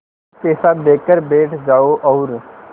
एक पैसा देकर बैठ जाओ और